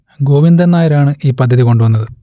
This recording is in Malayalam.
ഗോവിന്ദൻ നായർ ആണ് ഈ പദ്ധതി കൊണ്ടുവന്നത്